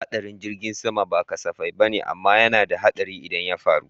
Haɗarin jirgin sama ba kasafai bane amma yana da haɗari idan ya faru